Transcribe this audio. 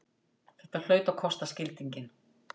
Þetta hlaut að kosta skildinginn!